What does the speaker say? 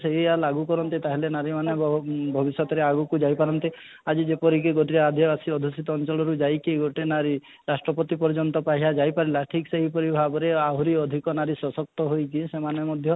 ସେଇୟା ଲାଗୁ କରନ୍ତି ତାହେଲେ ନାରୀ ମାନେ ଏଁ ବହୁତ ଭବିଷ୍ୟତରେ ଆଗକୁ ଯାଇ ପାରନ୍ତି ଆଜି ଯେପରିକି ଗୋଟିଏ ଆଧ୍ୟ ଆସି ଦୂଷିତ ଅଂଚଳରୁ ଯାଇକି ଗୋଟେ ନାରୀ ରାଷ୍ଟ୍ରପତି ପର୍ଯ୍ୟନ୍ତ ପାଈହା ଯାଇ ପାରିଲା ଠିକ ସେହି ପରି ଭାବରେ ଆହୁରି ଅଧିକ ନାରୀ ସଶକ୍ତ ହୋଇକି ସେମାନେ ମଧ୍ୟ